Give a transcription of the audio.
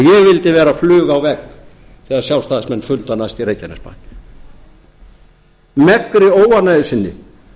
ég vildi vera fluga á vegg þegar sjálfstæðismenn funda næst í reykjanesbæ megnri óánægju sinni